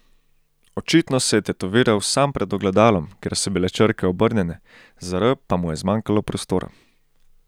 Očitno se je tetoviral sam pred ogledalom, ker so bile črke obrnjene, za R pa mu je zmanjkalo prostora.